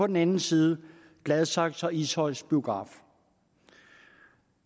den anden side gladsaxes og ishøjs biografer